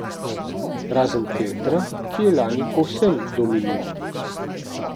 Razen Petra, ki je lani povsem dominiral.